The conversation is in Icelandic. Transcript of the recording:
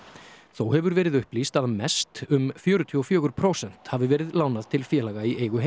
þó hefur verið upplýst að mest um fjörutíu og fjögur prósent hafi verið lánað til félaga í eigu